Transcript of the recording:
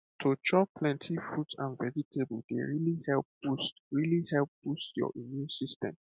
to chop plenty fruit and vegetable dey really help boost really help boost your immune system